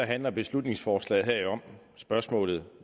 handler beslutningsforslaget her jo om spørgsmålet